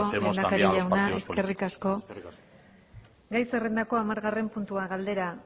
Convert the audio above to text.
eskerrik asko lehendakari jauna eskerrik asko gai zerrendako hamargarren puntua galdera